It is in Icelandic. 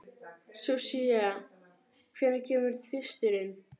Susie, hvenær kemur tvisturinn?